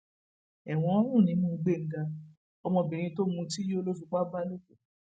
ẹwọn ń rùn nímú gbẹngá ọmọbìnrin tó mutí yó ló fipá bá lò pọ